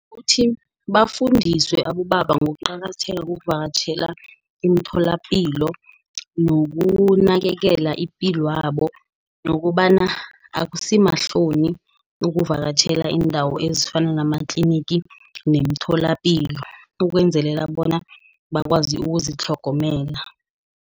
Uthi bafundiswe abobaba ngokuqakatheka kokuvakatjhela imitholapilo, nokunakekelwa ipilwabo, nokobana akusimahloni ukuvakatjhela iindawo ezifana namatlinigi, nemitholapilo ukwenzelela bona bakwazi ukuzitlhogomela.